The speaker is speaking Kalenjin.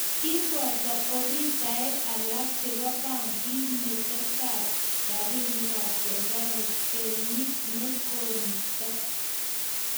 kiboto afisaisiek alak chebo benkit metetab robinikab serikali kenyi ne kosirto